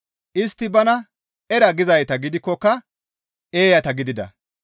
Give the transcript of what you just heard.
Istti bana, «Era» gizayta gidikkoka eeyata gidida.